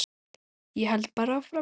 Ég held bara áfram.